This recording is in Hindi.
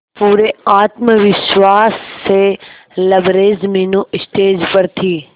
पूरे आत्मविश्वास से लबरेज मीनू स्टेज पर थी